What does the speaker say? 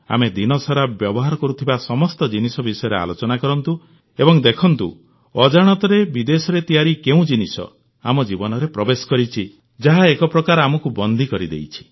ଆମେ ଦିନସାରା ବ୍ୟବହାର କରୁଥିବା ସମସ୍ତ ଜିନିଷ ବିଷୟରେ ଆଲୋଚନା କରନ୍ତୁ ଏବଂ ଦେଖନ୍ତୁ ଅଜାଣତରେ ବିଦେଶରେ ତିଆରି କେଉଁ ଜିନିଷ ଆମ ଜୀବନରେ ପ୍ରବେଶ କରିଛି ଯାହା ଏକ ପ୍ରକାର ଆମକୁ ବନ୍ଦୀ କରିଦେଇଛି